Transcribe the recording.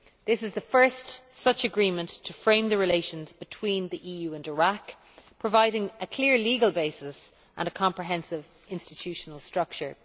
This is the first such agreement to frame the relations between the EU and Iraq providing a clear legal basis and a comprehensive institutional structure.